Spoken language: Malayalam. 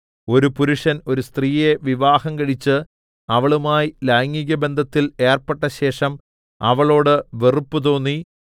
ഒരു പുരുഷൻ ഒരു സ്ത്രീയെ വിവാഹംകഴിച്ച് അവളുമായി ലൈംഗികബന്ധത്തിൽ ഏർപ്പെട്ടശേഷം അവളോട് വെറുപ്പ് തോന്നി